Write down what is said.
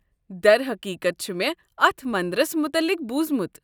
درحقیقت، چھُ مےٚ اتھ منٛدرس متلق بوٗزمُت۔